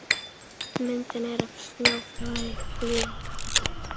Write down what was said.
Myndin er af snjóflóði í Hlíðarfjalli.